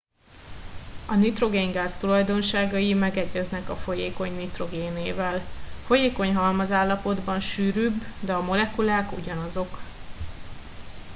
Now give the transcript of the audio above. a nitrogéngáz tulajdonságai megegyeznek a folyékony nitrogénével folyékony halmazállapotban sűrűbb de a molekulák ugyanazok